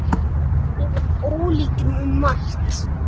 Við vorum ólíkir um margt.